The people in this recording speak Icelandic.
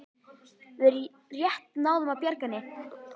Við rétt náðum að bjarga henni